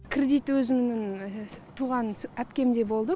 кредит өзімнің туған әпкемде болды